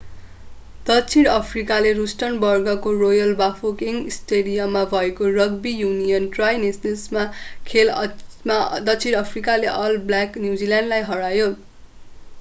दक्षिण अफ्रिकाले रुस्टनबर्गको रोयल बाफोकेङ स्टेडियममा भएको रग्बी युनियन ट्राइ नेसन्सको खेलमा दक्षिण अफ्रिकाले अल ब्ल्याक न्युजिल्यान्ड लाई हरायो।